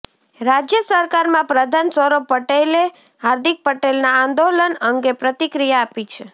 રાજ્ય સરકારમાં પ્રધાન સૌરભ પટેલે હાર્દિક પટેલના આંદોલન અંગે પ્રતિક્રિયા આપી છે